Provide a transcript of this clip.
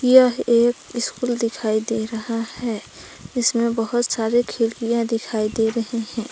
यह एक स्कूल दिखाई दे रहा हैं जिसमे बहोत सारे खिड़कियां दिखाई दे रहे है।